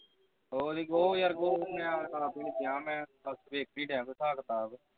ਉਹਦੀ ਉਹ ਮੈਂ ਦੇਖੀ ਆਪ ਦੀ ਨਹੀਂ ਕਿਹਾ ਮੈਂ ਵੇਖੀ ਬਹਿ ਕੇ ਹਿਸਾਬ ਕਿਤਾਬ